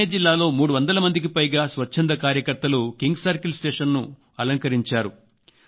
థానే జిల్లాలో 300 మందికి పైగా స్వచ్ఛంధ కార్యకర్తలు కింగ్ సర్కిల్ స్టేషన్ ను అలంకరించారు